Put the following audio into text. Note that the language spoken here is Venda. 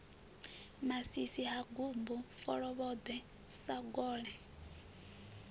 masisi ha gumbu folovhoḓwe sagole